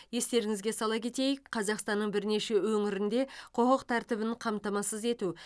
естеріңізге сала кетейік қазақстанның бірнеше өңірінде құқық тәртібін қамтамасыз ету